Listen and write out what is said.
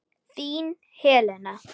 Þín, Helena.